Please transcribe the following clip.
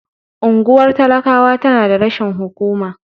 Unguwar talakawa tana da rashin hukuma.